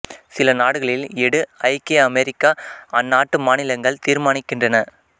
சில நாடுகளில் எடு ஐக்கிய அமெரிக்கா அந்நாட்டு மாநிலங்கள் தீர்மானிக்கின்றன